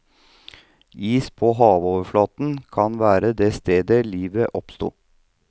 Is på havoverflaten kan være det stedet livet oppsto.